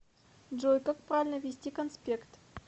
джой как правильно вести конспект